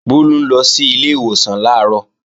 Bólú ń lọ sílé ìwòsàn làárọ̀